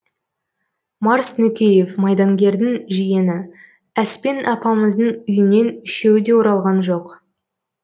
марс нүкеев майдангердің жиені әспен апамыздың үйінен үшеуі де оралған жоқ